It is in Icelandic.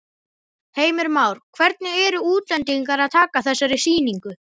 Heimir Már: Hvernig eru útlendingar að taka þessari sýningu?